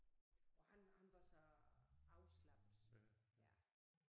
Og han han var så afslappet ja